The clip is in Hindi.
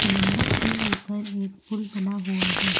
समुंदर के ऊपर एक पुल बना हुआ है।